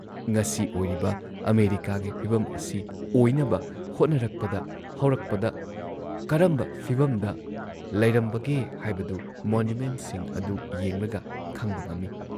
ꯉꯁꯤ ꯑꯣꯏꯔꯤꯕ ꯑꯃꯦꯔꯤꯀꯥꯒꯤ ꯐꯤꯚꯝ ꯑꯁꯤ ꯑꯣꯏꯅꯕ ꯍꯣꯠꯅꯔꯛꯄꯗ ꯍꯧꯔꯛꯄꯗ ꯀꯔꯝꯕ ꯐꯤꯚꯝꯗ ꯂꯩꯔꯝꯕꯒꯦ ꯍꯥꯏꯕꯗꯨ ꯃꯣꯅꯨꯃꯦꯟꯠꯁꯤꯡ ꯑꯗꯨ ꯌꯦꯡꯂꯒ ꯈꯪꯕ ꯉꯝꯏ ꯫